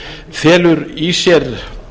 felur í sér